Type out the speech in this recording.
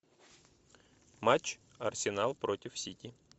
матч арсенал против сити